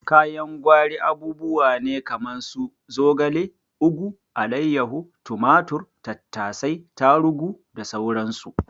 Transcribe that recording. Kayan gwari abubuwa ne kaman su zogale, ugu, alaiyahu, tumatur, tattasai, tarugu da sauran su.